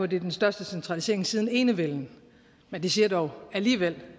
det er den største centralisering siden enevælden men det siger dog alligevel